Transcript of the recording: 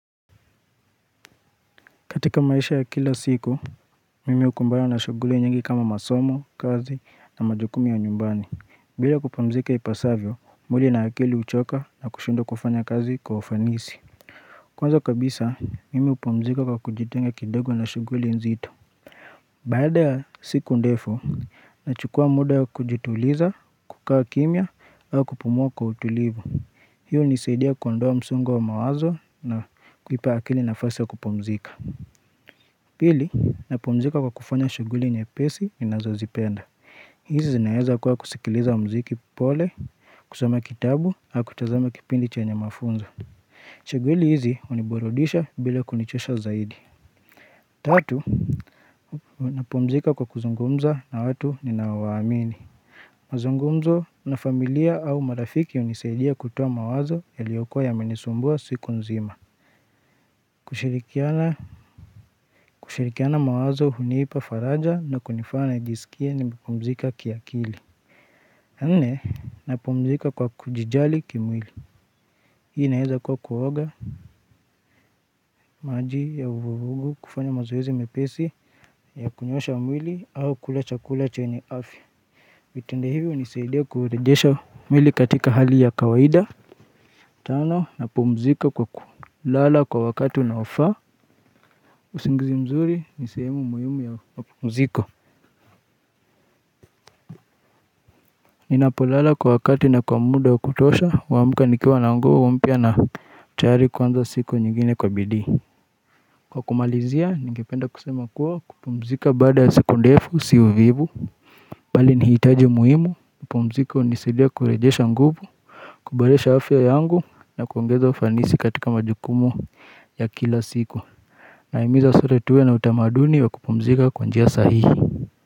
Katika maisha ya kila siku, mimi ukumbana na shuguli nyingi kama masomo, kazi na majukumu ya nyumbani. Bila kupumzika ipasavyo, mwili na akili uchoka na kushindwa kufanya kazi kwa ufanisi. Kwanza kabisa, mimi hupumzika kwa kujitenga kidogo na shuguli nzitu. Baada ya siku ndefu, nachukua muda ya kujituliza, kukaa kimya, au kupumua kwa utulivu. Hiyo unisaidia kuondoa msongo wa mawazo na kuipa akili nafasi ya kupumzika. Pili, napumzika kwa kufanya shuguli nyepesi ninazozipenda. Hizi zinaeza kuwa kusikiliza mziki pole, kusoma kitabu, au kutazama kipindi chenye mafunzo. Shuguli hizi uniburudisha bila kunichosha zaidi. Tatu, napumzika kwa kuzungumza na watu ninaowaamini. Mazungumzo na familia au marafiki unisaidia kutowa mawazo yaliyokuwa yamenisumbua siku nzima. Kushirikiana mawazo hunipa faraja na kunifanya nijisikie nimepumzika kiakili ya nne napumzika kwa kujijali kimwili hii inaeza kuwa kuoga maji ya uvuvugu kufanya mazoezi mepesi ya kunyoosha mwili au kula chakula chenye afi vitendo hivi hunisaidia kurejesha mwili katika hali ya kawaida tano napumzika kwa kulala kwa wakati unaofaa usingizi mzuri ni sehemu muhimu ya mapumziko Ninapolala kwa wakati na kwa muda wa kutosha, huamuka nikiwa na nguvu mpya na tayari kuanza siku nyingine kwa bidii. Kwa kumalizia, ningependa kusema kuwa kupumzika baada ya siku ndefu si uvivu. Bali ni hitaji muhimu, kupumzika hunisidia kurejesha nguvu, kuboresha afya yangu na kuongeza ufanisi katika majukumu ya kila siku. Na imiza sote tuwe na utamaduni wa kupumzika kwa njia sahihi.